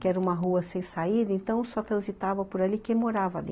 Que era uma rua sem saída, então só transitava por ali quem morava ali.